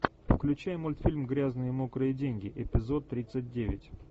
включай мультфильм грязные мокрые деньги эпизод тридцать девять